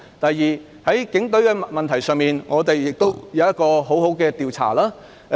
第二，在警隊問題上，有需要好好進行一次調查。